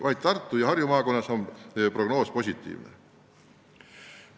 Vaid Tartu ja Harju maakonnas on see prognoos positiivne.